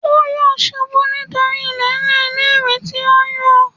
Ó yọ̀ ṣubú nítorí ilẹ̀ẹ́ńlẹ̀ ilé-ìwẹ̀ tí ó ń yọ̀